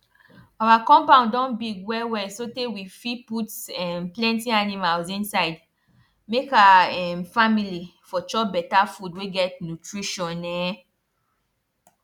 our compound don big wellwell sotay we fit put um plenty animals inside make our um family for chop better food wey get nutrition um